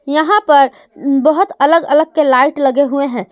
यहा पर बहोत अलग अलग के लाइट लगे हुए है।